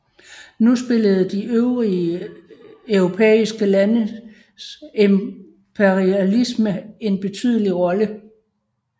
Nu spillede de øvrige europæiske landes imperialisme en betydelig rolle